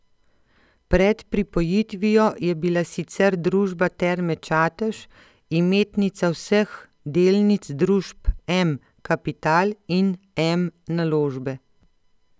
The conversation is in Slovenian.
Pred pripojitvijo je bila sicer družba Terme Čatež imetnica vseh delnic družb M Kapital in M Naložbe.